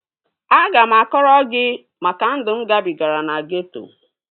Aga m akọrọ gị maka ndụ mụ gabigara na geeto